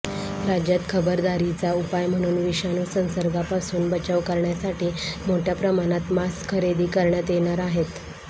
राज्यात खबरदारीचा उपाय म्हणून विषाणू संसर्गापासून बचाव करण्यासाठी मोठ्या प्रमाणात मास्कखरेदी करण्यात येणार आहेत